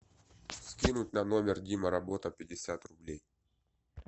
скинуть на номер дима работа пятьдесят рублей